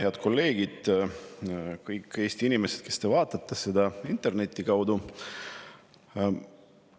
Head kolleegid ja kõik Eesti inimesed, kes te vaatate seda interneti kaudu!